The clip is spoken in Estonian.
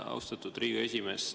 Austatud Riigikogu esimees!